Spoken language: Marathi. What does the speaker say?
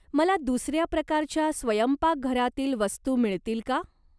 मला दुसऱ्या प्रकारच्या स्वयंपाकघरातील वस्तू मिळतील का?